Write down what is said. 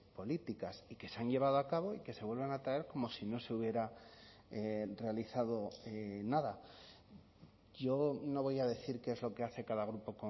políticas y que se han llevado a cabo y que se vuelven a traer como si no se hubiera realizado nada yo no voy a decir qué es lo que hace cada grupo